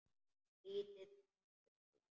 Lítill, svartur bíll.